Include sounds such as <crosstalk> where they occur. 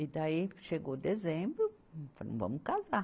E daí chegou dezembro, <unintelligible> vamos casar.